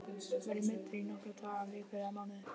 Verð ég meiddur í nokkra daga, vikur eða mánuði?